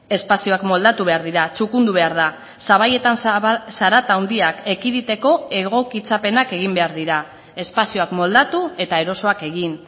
espazioak moldatu behar dira txukundu behar da sabaietan zarata handiak ekiditeko egokitzapenak egin behar dira espazioak moldatu eta erosoak egin